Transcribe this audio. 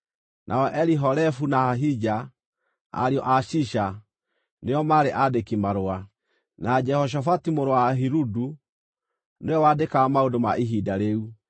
nao Elihorefu na Ahija, ariũ a Shisha, nĩo maarĩ aandĩki-marũa; na Jehoshafatu mũrũ wa Ahiludu, ũrĩa waandĩkaga maũndũ ma ihinda rĩu;